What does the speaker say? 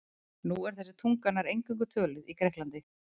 Nú er þessi tunga nær eingöngu töluð í Grikklandi.